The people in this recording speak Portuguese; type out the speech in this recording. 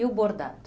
E o bordado?